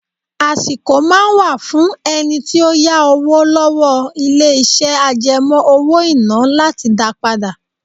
Àsìkò máa ń wà fún ẹni tí ó yá owó lọ́wọ́ ilé iṣẹ́ àjẹmó owó-ìná láti dá padà.